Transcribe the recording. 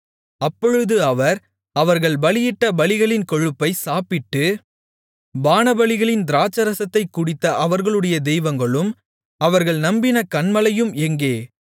அப்பொழுது அவர் அவர்கள் பலியிட்ட பலிகளின் கொழுப்பைச் சாப்பிட்டு பானபலிகளின் திராட்சைரசத்தைக் குடித்த அவர்களுடைய தெய்வங்களும் அவர்கள் நம்பின கன்மலையும் எங்கே